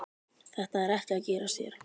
Þetta er ekki að gerast hér.